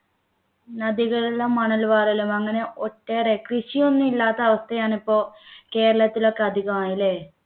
നദികളിലും മണൽവാരലും അങ്ങനെ ഒട്ടേറെ കൃഷിയൊന്നും ഇല്ലാത്ത അവസ്ഥയാണ് ഇപ്പോ കേരളത്തിലോക്കെ അധികം ല്ലേ